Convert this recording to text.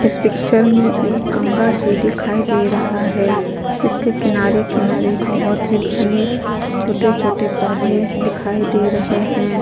इस पिक्चर में एक गंगा जी दिखाई दे रहा है इसके किनारे किनारे बहुत ही घने छोटे छोटे पौधे दिखाई दे रहे है।